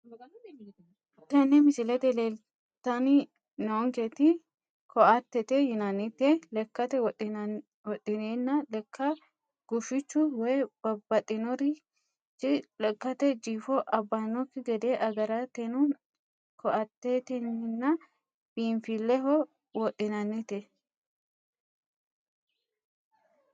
Tene misilete leeltani noonketi ko`atete yinaniti lekate wodhineena leka gufichu woyi babaxinorichi lekate jifo abanoki gede agartano ko`ateetina biinfileho wodhinanite.